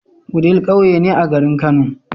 Wudil ƙauye ne a garin kano